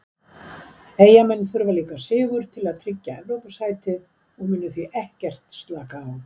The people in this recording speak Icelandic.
Eyjamenn þurfa líka sigur til að tryggja Evrópusætið og munu því ekkert slaka á.